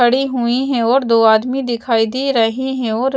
पड़ी हुई है और दो आदमी दिखाई दे रही है और--